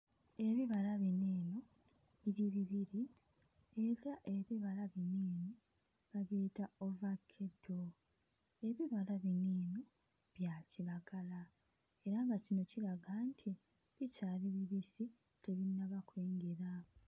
Ebibala bino eno biri bibiri era ebibala bino eno babiyita ovakeddo, ebibala bino eno bya kiragala era nga kino kiraga nti bikyali bibisi tebinnaba kwengera.